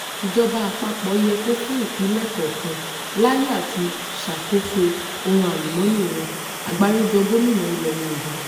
ìjọba àpapọ̀ yẹ kó fún ìpínlẹ̀ kọ̀ọ̀kan láyè àti ṣàkóso ohun àlùmọ́ọ́nì wọn agbáríjọ gómìnà ilẹ̀ yorùbá